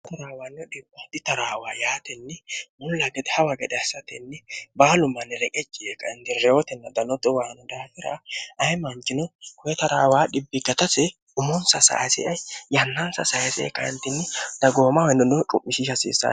hara taraawaannio dhimooi taraawa yaatenni mulla gede hawa gadhe hassatenni baalu manni leqecci ee kainti reyotinni danoxo waano daafira ayimaancino kuwe taraawaa dhibbigtase umunsa sayisee yannaansa sayisee kayintinni dagooma hainino cu'mishiishi hasiissane